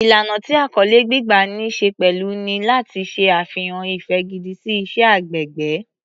Ìlànà tí àkọlé gbígbà ní ṣe pẹ̀lú ni láti ṣe àfihàn ìfẹ́ gidi sí iṣẹ́ agbègbè.